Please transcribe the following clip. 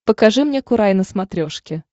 покажи мне курай на смотрешке